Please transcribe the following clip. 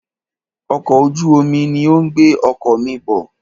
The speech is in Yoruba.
Ọkọ̀ ojú omi ní o ń gbé ọkọ̀ mí bọ̀.